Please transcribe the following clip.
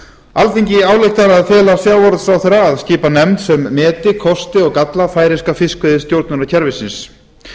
alþingi ályktar að fela sjávarútvegsráðherra að skipa nefnd sem meti kosti og galla færeyska fiskveiðistjórnarkerfisins